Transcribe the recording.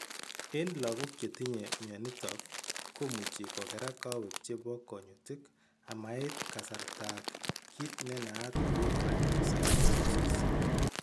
Eng' lagok chetinye mionitok komuchi kokerak kowek chebo kunyutik amait kasaratak kiit nenaat kou craniosynostosis